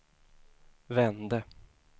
vände